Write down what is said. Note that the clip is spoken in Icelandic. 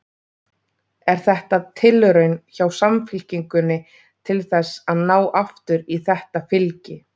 Er þetta tilraun hjá Samfylkingunni til þess að ná aftur í þetta fylgi?